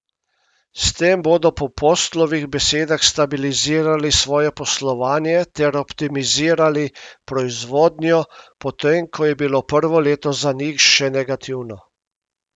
S tem bodo po Postlovih besedah stabilizirali svoje poslovanje ter optimizirali proizvodnjo, potem ko je bilo prvo leto za njih še negativno.